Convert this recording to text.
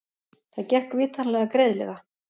Það gekk vitanlega greiðlega.